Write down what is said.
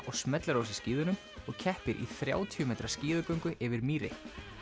og smellir á sig skíðunum og keppir í þrjátíu metra skíðagöngu yfir mýri